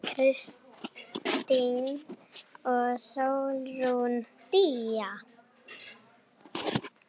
Jóna Kristín og Sólrún Día.